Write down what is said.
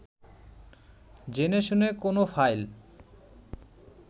জেনেশুনে কোনো ফাইল